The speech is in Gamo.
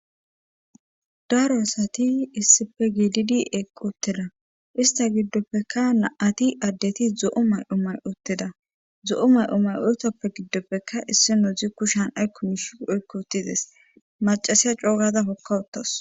daaro asati issife giddi eeqqi utteda ista giddoppekka naati addeti zo7o may7o may7otteda zo7o may7o may7otoppe giddopfeka issi nodzi kushan ay kumish oykko uttides macasiya coogada hokkawuttas